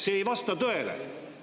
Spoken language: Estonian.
See ei vasta tõele.